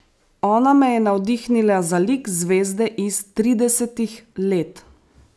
Ona me je navdihnila za lik zvezde iz tridesetih let.